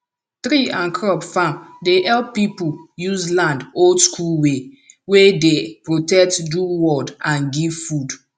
tree and crop farm dey help people use land oldschool way wey dey protect do world and give food